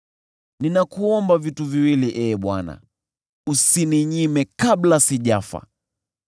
“Ninakuomba vitu viwili, Ee Bwana ; usininyime kabla sijafa: